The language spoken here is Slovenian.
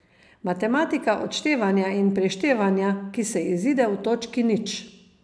Matematika odštevanja in prištevanja, ki se izide v točki nič.